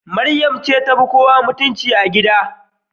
Mariam ce tafi kowa mutunci a gida.